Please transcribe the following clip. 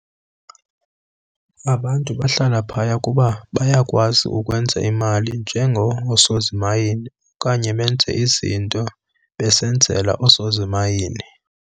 Abantu bahlala phaya kuba bayakwazi ukwenza imali njengoosozimayini okanye benze izinto besenzela osozimayini.